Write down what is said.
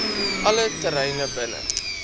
alle terreine binne